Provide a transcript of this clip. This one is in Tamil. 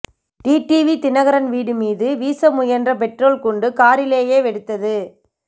டிடிவி தினகரன் வீடு மீது வீச முயன்ற பெட்ரோல் குண்டு காரிலேயே வெடித்தது